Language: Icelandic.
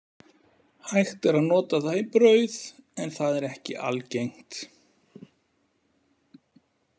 Hægt er að nota það í brauð, en það er ekki algengt.